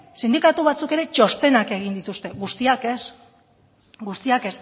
sindikatu batzuk ere txostenak egin dituzte guztiek ez